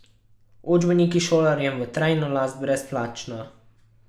Učbeniki šolarjem v trajno last brezplačno?